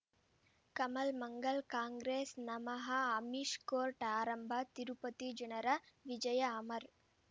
ಕಮಲ್ ಮಂಗಳ್ ಕಾಂಗ್ರೆಸ್ ನಮಃ ಅಮಿಷ್ ಕೋರ್ಟ್ ಆರಂಭ ತಿರುಪತಿ ಜನರ ವಿಜಯ ಅಮರ್